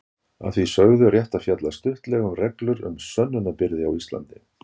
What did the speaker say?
Að því sögðu er rétt að fjalla stuttlega um reglur um sönnunarbyrði á Íslandi.